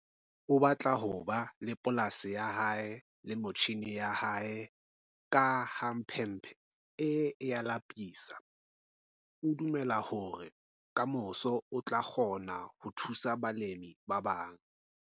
O batla hob a le polasi yah ae le metjhine yah ae ka ha mphemphe e a lapisa. O dumela hore ka moso o tla kgona ho thusa balemi ba bang.